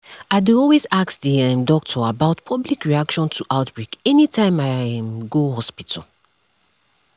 i dey always ask the um doctor about public reaction to outbreak anytime i um go hospital